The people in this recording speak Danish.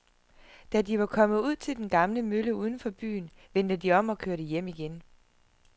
Da de var kommet ud til den gamle mølle uden for byen, vendte de om og kørte hjem igen.